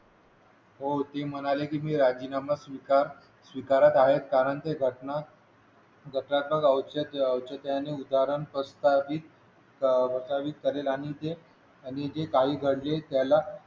हो ती म्हणाली की मी राजीनामा स्वीकार स्वीकारत आहे कारण की ते रत्न घटनात्मक आवश्यक आणि उदाहरण स्पष्ट करेल आणि जे आणि जे काही घडले त्याला